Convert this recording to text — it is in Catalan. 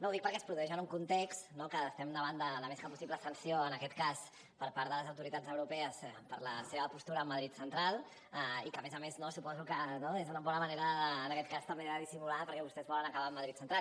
ho dic perquè es produeix en un context no que estem davant de la més que possible sanció en aquest cas per part de les autoritats europees per la seva postura amb madrid central i que a més a més suposo que és una bona manera també de dissimular perquè vostès volen acabar amb madrid central